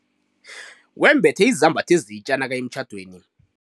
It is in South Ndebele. Wembethe izambatho ezitja nakaya emtjhadweni.